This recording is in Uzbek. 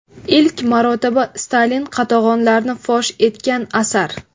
Ilk marotaba Stalin qatag‘onlarini fosh etgan asar.